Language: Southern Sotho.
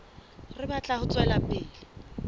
re batla ho tswela pele